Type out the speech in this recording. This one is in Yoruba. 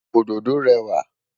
Òdòdó rẹwà.